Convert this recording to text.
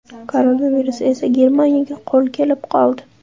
Koronavirus esa Germaniyaga qo‘l kelib qoldi.